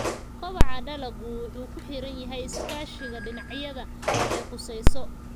Kobaca dalaggu wuxuu ku xiran yahay iskaashiga dhinacyada ay khuseyso.